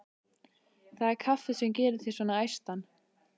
Það er kaffið sem gerir þig svona æstan.